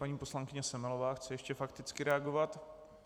Paní poslankyně Semelová chce ještě fakticky reagovat.